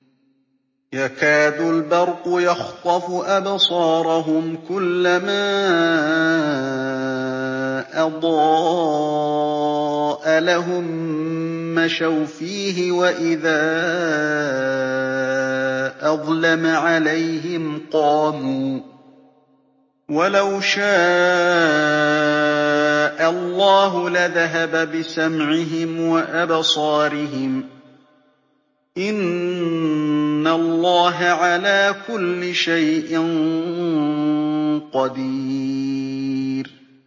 يَكَادُ الْبَرْقُ يَخْطَفُ أَبْصَارَهُمْ ۖ كُلَّمَا أَضَاءَ لَهُم مَّشَوْا فِيهِ وَإِذَا أَظْلَمَ عَلَيْهِمْ قَامُوا ۚ وَلَوْ شَاءَ اللَّهُ لَذَهَبَ بِسَمْعِهِمْ وَأَبْصَارِهِمْ ۚ إِنَّ اللَّهَ عَلَىٰ كُلِّ شَيْءٍ قَدِيرٌ